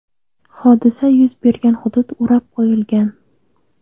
Hodisa yuz bergan hudud o‘rab qo‘yilgan.